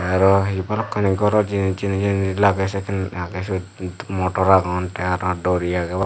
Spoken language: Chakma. araw hi balokkani goro jinis jeni jeni lage sekken agey sot motor agon te araw dori agey.